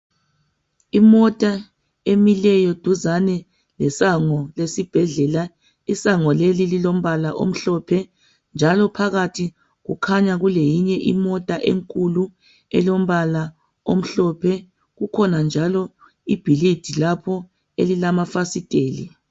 Imota emileyo duzane lesango lesibhedlela isango leli lilombala omhlophe njalo phakathi kukhanya kuleyinye imota enkulu elombala omhlophe kukhona njalo ibhilidi lapho elilamafasiteli.